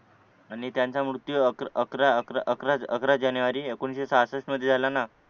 आणि त्यांचा मृत्यू अकरा अकरा अकरा अकरा जानेवारी एकोणीशे सहासष्ठ मध्ये झाला ना